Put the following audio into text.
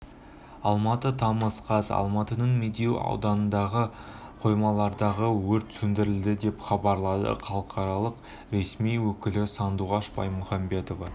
алматы тамыз қаз алматының медеу ауданындағы қоймалардағы өрт сөндірілді деп хабарлады қалалық ресми өкілі сандуғаш баймұхамбетова